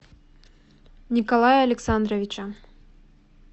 николая александровича